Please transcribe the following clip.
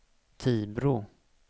Tibro